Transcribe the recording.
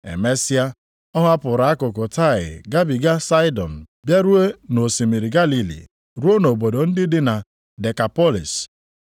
Emesịa, ọ hapụrụ akụkụ Taịa gabiga Saịdọn bịaruo nʼosimiri Galili ruo nʼobodo ndị dị na Dekapọlịs.